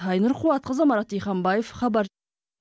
айнұр қуатқызы марат диханбаев хабар